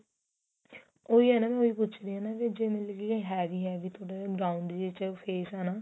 ਉਹੀ ਹੈ ਨੀ ਵੀ ਮੈਂ ਉਹੀ ਪੁੱਛ ਰਹੀ ਆ ਨਾ ਵੀ ਜੇ ਮਤਲਬ ਕੀ heavy heavy ਥੋੜਾ ਜਾ round ਚ face ਏ ਨਾ